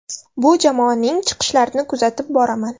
Bu jamoaning chiqishlarini kuzatib boraman.